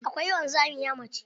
Akwai wanzamiya mace.